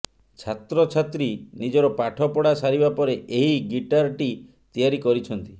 ଛାତ୍ରଛାତ୍ରୀ ନିଜର ପାଠ ପଢା ସାରିବା ପରେ ଏହି ଗିଟାର ଟି ତିଆରି କରିଛନ୍ତି